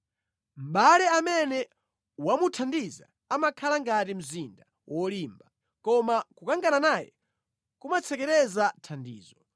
Mʼbale amene wamuthandiza amakhala ngati mzinda wolimba, koma kukangana naye kumatsekereza thandizo.